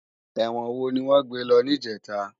Èwòn wó niwòn gbé lò nijètá?